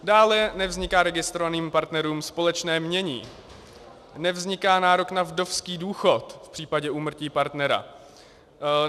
Dále nevzniká registrovaným partnerům společné jmění, nevzniká nárok na vdovský důchod v případě úmrtí partnera.